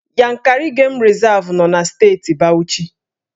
Yankari Game Reserve nọ na Steeti Bauchi